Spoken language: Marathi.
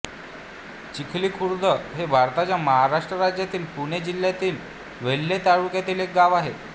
चिखलीखुर्द हे भारताच्या महाराष्ट्र राज्यातील पुणे जिल्ह्यातील वेल्हे तालुक्यातील एक गाव आहे